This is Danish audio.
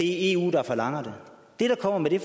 eu der forlanger det vi kommer med det